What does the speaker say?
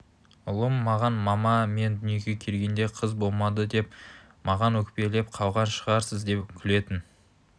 ұлым маған мама мен дүниеге келгенде қыз болмады деп маған өкпелеп қалған шығарсыз деп күлетін